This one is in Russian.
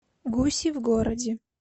гуси в городе